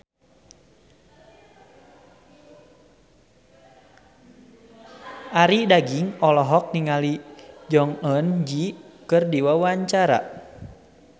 Arie Daginks olohok ningali Jong Eun Ji keur diwawancara